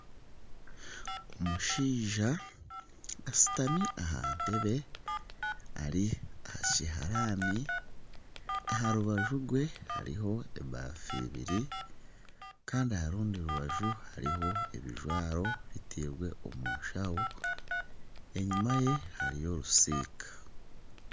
Omushaija ashutami aha ntebe ari aha kiharani, aha rubaju rwe hariho ebafu ibiri kandi aha rundi rubaju hariho ebijwaro bitairwe omu nshaho, enyima ye hariyo orusiika